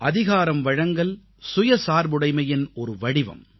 அதிகாரம்வழங்கல் சுயசார்புடைமையின் ஒரு வடிவம்